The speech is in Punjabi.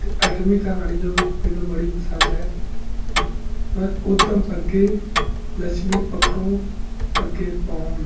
ਤੇ ਅੱਠਵੀ ਕਹਾਣੀ ਜੋ ਮੇਨੂ ਬੜੀ ਪਸੰਦ ਹੈ ਉਧਮ ਅਗੇ ਲਕਸ਼ਮੀ ਪਾਗੋ ਅਗੇ ਪਾਉਣ